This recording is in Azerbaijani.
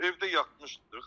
Evdə yatmışdıq.